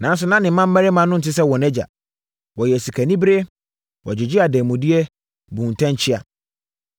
Nanso, na ne mmammarima no nte sɛ wɔn agya. Wɔyɛɛ sikanibereɛ. Wɔgyegyee adanmudeɛ, buu ntɛnkyea.